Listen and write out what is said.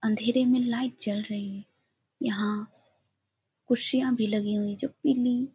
अंधेरे में लाइट जल रही है यहाँ कुर्सियां भी लगी हुई है जो पीली --